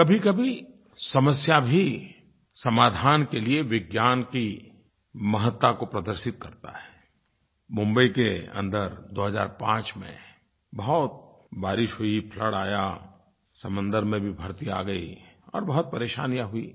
कभीकभी समस्या भी समाधान के लिये विज्ञान की महत्ता को प्रदर्शित करती है मुंबई के अन्दर 2005 में बहुत बारिश हुई फ्लड आया समंदर में भी भरती आ गई और बहुत परेशानियाँ हुईं